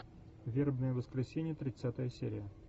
вербное воскресенье тридцатая серия